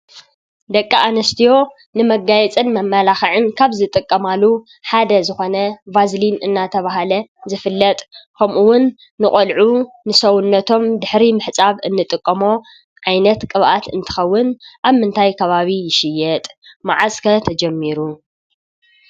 ደቂ ኣንስትዮ ንመጋየፅን መመላኽዕ ካብ ዝጥቀማሉ ሓደ ዝኾነ ቫዝሊን እናተባህለ ዝፍለጥ ኸምኡውን ንቆልዑ ንሰውነቶም ድሕሪ ምሕፃብ እንጥቀሞ ዓይነት ቅብኣት እንትኸውን ኣብ ምንታይ ከባቢ ይሽየጥ? መዓዝ ከ ተጀሚሩ?